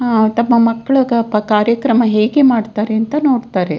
ಆ ತಮ್ಮ ಮಕ್ಕ್ಳು ಕಾರ್ಯಕ್ರಮ ಹೇಗೆ ಮಾಡ್ತಾರೆ ಅಂತ ನೋಡ್ತಾರೆ.